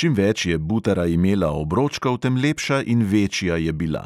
Čim več je butara imela obročkov, tem lepša in večja je bila;